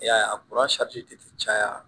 I y'a ye a ti caya